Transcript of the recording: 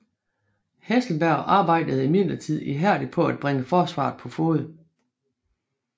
Hesselberg arbejdede imidlertid ihærdigt på at bringe forsvaret på fode